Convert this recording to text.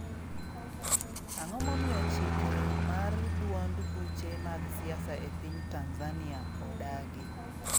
Ang'o momiyo chike mar duond buche mag siasa e piny Tanzania odagi?